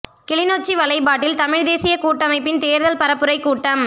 கிளிநொச்சி வலைப்பாட்டில் தமிழ் தேசிய கூட்டமைப்பின் தேர்தல் பரப்புரை கூட்டம்